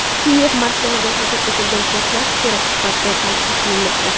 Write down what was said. Kiyev markazida sodir etilgan portlash terakt sifatida talqin qilinmoqda.